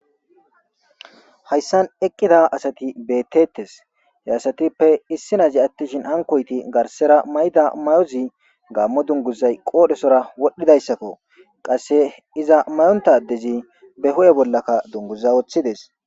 Hayssan eqqida asati beettetes. he asatippe issi nazi attishin hankoyti garsera may'da may'ozi gaammo dunguzay qoodhesora wodhdhidayssakko. qasse iza mayonta adezi be ho'e bollakka dungguza woththides.